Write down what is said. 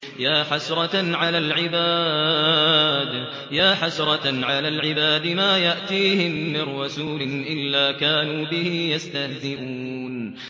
يَا حَسْرَةً عَلَى الْعِبَادِ ۚ مَا يَأْتِيهِم مِّن رَّسُولٍ إِلَّا كَانُوا بِهِ يَسْتَهْزِئُونَ